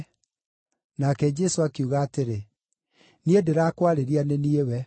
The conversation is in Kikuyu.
Nake Jesũ akiuga atĩrĩ, “Niĩ ndĩrakwarĩria nĩ niĩ we.”